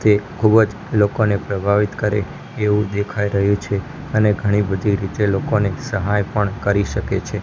તે ખૂબજ લોકોને પ્રભાવિત કરે એવુ દેખાય રહ્યુ છે અને ઘણી બધી રીતે લોકોને સહાય પણ કરી શકે છે.